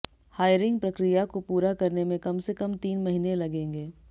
hiring प्रक्रिया को पूरा करने में कम से कम तीन महीने लगेंगे